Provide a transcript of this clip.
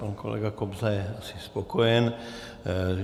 Pan kolega Kobza je asi spokojen.